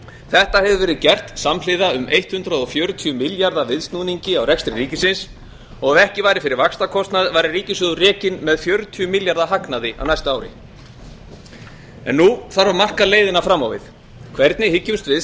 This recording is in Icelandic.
þetta hefur verið gert samhliða um hundrað fjörutíu milljarða viðsnúningi á rekstri ríkisins og ef ekki væri fyrir vaxtakostnaður væri ríkissjóður rekinn með fjörutíu milljarða króna hagnaði á næsta ári nú þarf að marka leiðina fram á við hvernig hyggjumst við